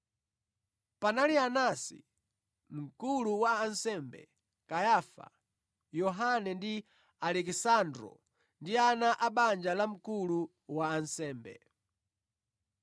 Panali Anasi, Mkulu wa ansembe, Kayafa, Yohane ndi Alekisandro ndi ana a banja la mkulu wa ansembe.